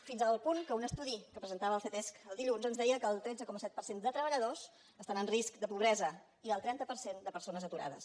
fins al punt que un estudi que presentava el ctesc dilluns ens deia que el tretze coma set per cent de treballadors estan en risc de pobresa i el trenta per cent de persones aturades